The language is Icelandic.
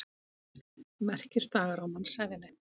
Merkisdagar á mannsævinni.